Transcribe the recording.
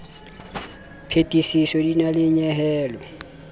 phethiso di na le nyehelo